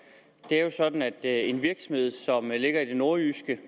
det er jo sådan at virksomheden som ligger i det nordjyske